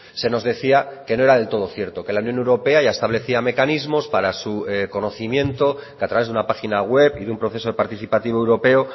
se nos decía que no era del todo cierto que la unión europea ya establecía mecanismos para su conocimiento que a través de una página web y de un proceso de participativo europeo